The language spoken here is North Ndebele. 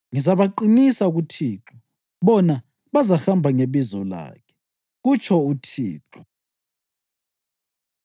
Ngizabaqinisa kuThixo, bona bazahamba ngebizo lakhe,” kutsho uThixo.